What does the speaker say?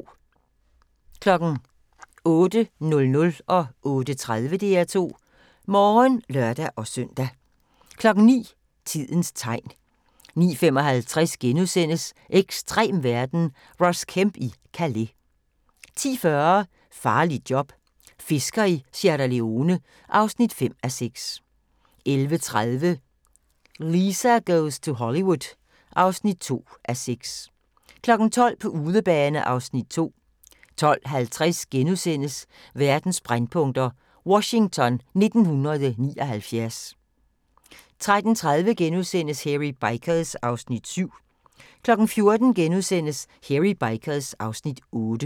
08:00: DR2 Morgen (lør-søn) 08:30: DR2 Morgen (lør-søn) 09:00: Tidens tegn 09:55: Ekstrem verden – Ross Kemp i Calais * 10:40: Farligt job - fisker i Sierra Leone (5:6) 11:30: Lisa Goes to Hollywood (2:6) 12:00: På udebane (Afs. 2) 12:50: Verdens brændpunkter: Washington 1979 * 13:30: Hairy Bikers (Afs. 7)* 14:00: Hairy Bikers (Afs. 8)*